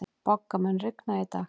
Bogga, mun rigna í dag?